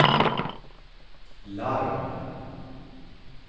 larm